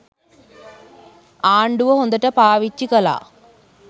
ආණ්ඩුව හොඳට පාවිච්චි කළා.